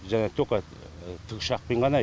жаңағы тока тікұшақпен ғана